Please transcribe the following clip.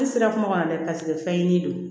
Ne sera kuma dɛ paseke fɛn ye n'i don